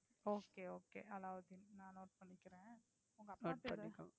Okay Okay Alauddin நான் Note பண்ணிக்கிறேன்.